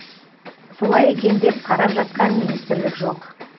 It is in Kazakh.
солай екен деп қарап жатқан министрлік жоқ